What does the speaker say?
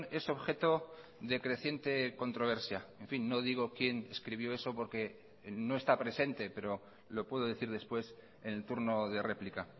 es objeto de creciente controversia en fin no digo quién escribió eso porque no está presente pero lo puedo decir después en el turno de réplica